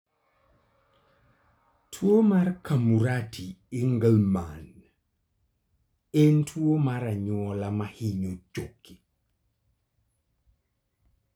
Tuwo mar Camurati Engelmann en tuwo mar anyuola ma hinyo choke.